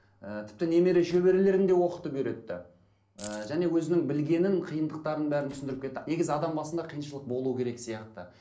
і тіпті немере шөберелерін де оқытып үйретті ііі және өзінің білгенін қиындықтарын бәрін түсінідіріп кетті негізі адам басында қиыншылық болу керек сияқты